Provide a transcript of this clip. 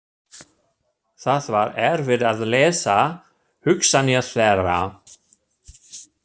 Það var erfitt að lesa hugsanir þeirra.